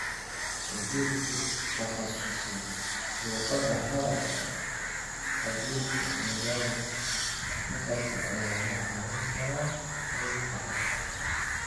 Khabiir ku takhasusay luqadda hadalka iyo khabiirka maqalka ayaa kaa caawin kara qaybtan habka.